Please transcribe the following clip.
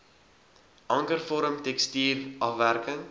ankervorm tekstuur afwerking